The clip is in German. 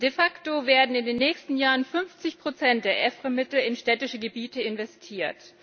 De facto werden in den nächsten Jahren 50 der EFRE Mittel in städtische Gebiete investiert.